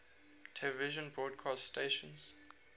television broadcast stations